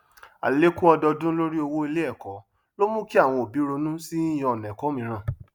àlékún ọdọọdún lorí owó iléẹkọ ló mú kí àwọn òbí ronú sí yíyàn ọnà ẹkọ mìíràn